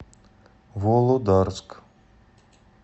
володарск